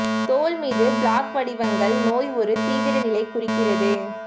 தோல் மீது பிளாக் வடிவங்கள் நோய் ஒரு தீவிர நிலை குறிக்கிறது